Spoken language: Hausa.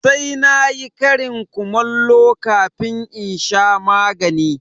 Sai na yi ƙarin kumallo kafin in sha magani.